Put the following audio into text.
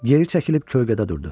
Yeri çəkilib kölgədə durdu.